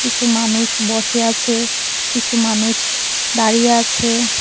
কিছু মানুষ বসে আছে কিছু মানুছ দাঁড়িয়ে আছে।